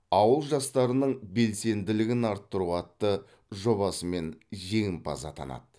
ауыл жастарының белсенділігін арттыру атты жобасымен жеңімпаз атанады